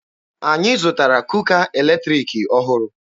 Anyị zụtara kuka eletriki ọhụrụ.